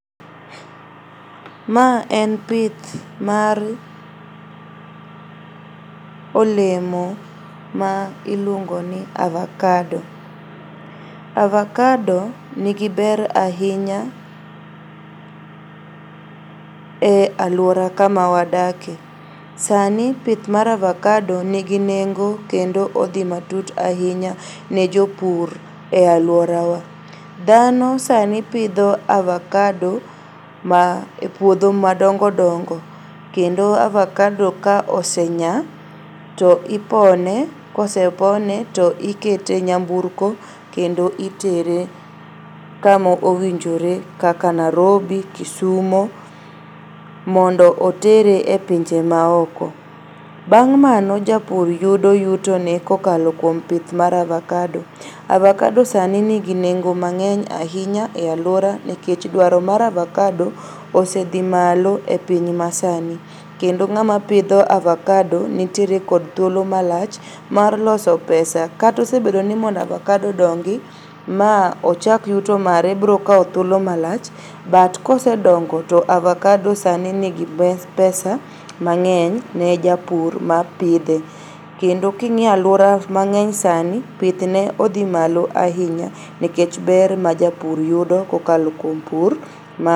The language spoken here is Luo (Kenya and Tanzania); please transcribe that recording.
Ma en pith mar olemo ma iluongo ni avacado. Avacado nigi ber ahinya e aluora kama wadake. Sani pith mar avacado nigi nengo kendo odhi matut ahinya ne jopur e aluora wa. Dhano sani pidho avacado ma e puodho madongodongo kendo avacado ka osenyaa to ipone, kosepone to ikete nyamburko kendo itere kamo owinjore kaka Nairobi, Kisumu mondo otere e pinje maoko. Bang' mano japur yudo yuto ne kokalo kuom pidh mar avacado. Avacado sani nigi nengo mang'eny ahinya e aluora nikech dwaro mar acavado osedhi malo e piny masani, kendo ng'ama pidho avacado nitiere kod thuolo malach mar loso pesa, kata osebedo ni mondo avacado odongi ma ochak yuto mare biro kao thuolo malach but kosedongo to avacado sani nigi pesa mang'eny ne japur mapidhe. Kendo king'iyo aluora mang'eny sani pithne odhi malo ahinya nikech ber ma japur yudo kokalo kuom pur mar...